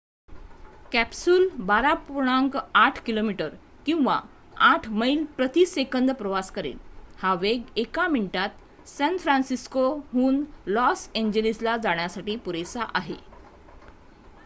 Capsule १२.८ किमी किंवा ८ मैल प्रति सेकंद प्रवास करेल. हा वेग एका मिनिटात सॅन फ्रान्सिस्कोहून लॉस एॅन्जेलिसला जाण्यासाठी पुरेसा आहे